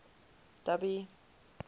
dubby